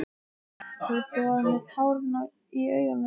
Tóti var með tárin í augunum.